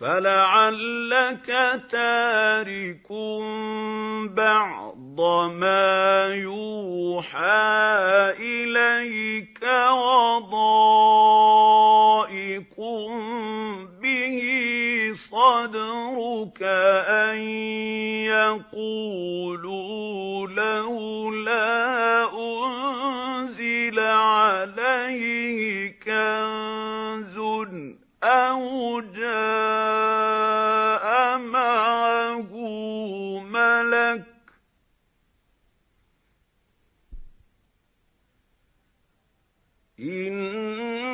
فَلَعَلَّكَ تَارِكٌ بَعْضَ مَا يُوحَىٰ إِلَيْكَ وَضَائِقٌ بِهِ صَدْرُكَ أَن يَقُولُوا لَوْلَا أُنزِلَ عَلَيْهِ كَنزٌ أَوْ جَاءَ مَعَهُ مَلَكٌ ۚ إِنَّمَا